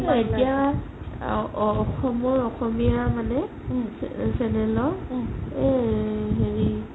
এতিয়া অসমৰ অসমীয়া মানে channel ত এই হেৰি